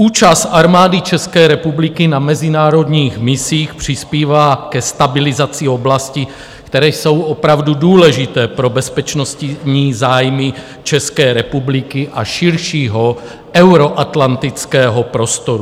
Účast Armády České republiky na mezinárodních misích přispívá ke stabilizaci oblasti, které jsou opravdu důležité pro bezpečnostní zájmy České republiky a širšího euroatlantického prostoru.